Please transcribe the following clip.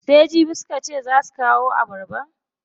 Sai jibi suka ce zaa su kawo abarbar?